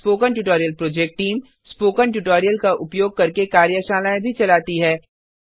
spoken tutorial project team spoken tutorial का उपयोग करके कार्यशालाएँ भी चलाती है